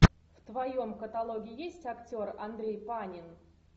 в твоем каталоге есть актер андрей панин